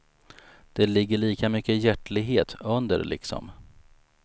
Det ligger lika mycket hjärtlighet under liksom.